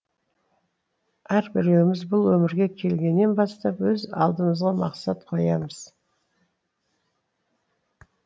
әрбіреуіміз бұл өмірге келгеннен бастап өз алдымызға мақсат қоямыз